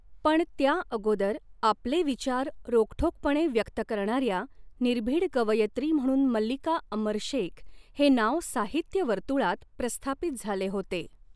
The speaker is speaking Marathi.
पण त्याअगोदर आपले विचार रोखठोकपणे व्यक्त करणाऱ्या निर्भीड कवयित्री म्हणून मल्लिका अमर शेख हे नाव साहित्यवर्तुळात प्रस्थापित झाले होते.